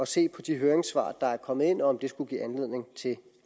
se på de høringssvar der er kommet ind og om de skulle give anledning til